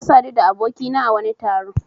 Na sadu da abokina a wani taro.